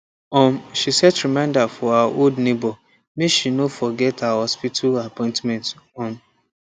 um she set reminder for her old neighbor make she no forget her hospital appointment um